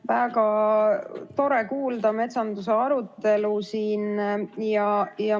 Väga tore on kuulda siin metsanduse arutelu.